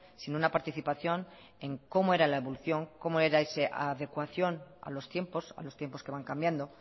sin una participación en cómo era la evolución cómo era esa adecuación a los tiempos a los tiempos que van cambiando